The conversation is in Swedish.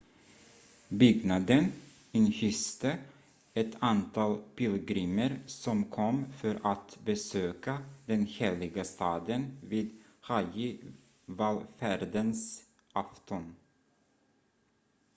byggnaden inhyste ett antal pilgrimer som kom för att besöka den heliga staden vid hajji-vallfärdens afton